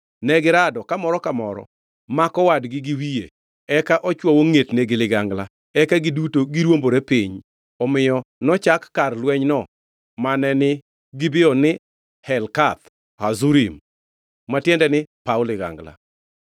Negirado ka moro ka moro mako wadgi gi wiye eka ochwoyo ngʼetne gi ligangla; eka giduto negiruombore piny. Omiyo nochak kar lwenyno mane ni Gibeon ni Helkath Hazurim ma tiende ni paw ligangla.